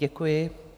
Děkuji.